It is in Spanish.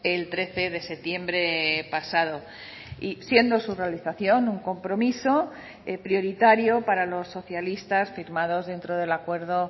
el trece de septiembre pasado y siendo su realización un compromiso prioritario para los socialistas firmados dentro del acuerdo